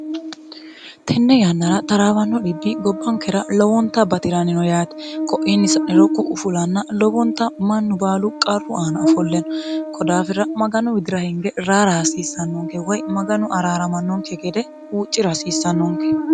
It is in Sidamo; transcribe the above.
tenne yannara xaraabanno dhibbi gobbankera lowonta bati'raanino yaate ko'inni sa'niro ku"u fulanna lobonta mannu baalu qarru aana ofolleenno ko daafira maganu widira hinge raara hasiissannonke woy maganu araaramannonke gede huuccira hasiissannonke